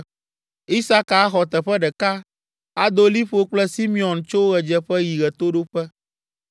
Isaka axɔ teƒe ɖeka; ado liƒo kple Simeon tso ɣedzeƒe yi ɣetoɖoƒe.